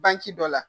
Banki dɔ la